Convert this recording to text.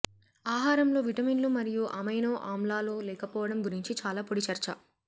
ఆహారంలో విటమిన్లు మరియు అమైనో ఆమ్లాలు లేకపోవడం గురించి చాలా పొడి చర్చ